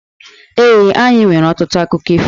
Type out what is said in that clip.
Ee, anyị nwere ọtụtụ akụkọ ifo.